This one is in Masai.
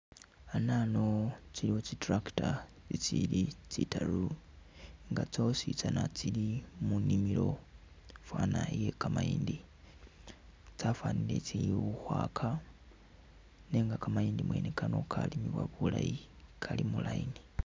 Anano tsiliwo tsi’tractor tsili tsitaru nga tsositsana tsili munimilo fwana iye kamayindi tsafanile tsili ukhwaka nenga kamayindi mwene Kano kalimiwa bulayi kali mu line.